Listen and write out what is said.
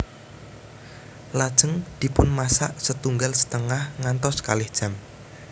Lajeng dipunmasak setunggal setengah ngantos kalih jam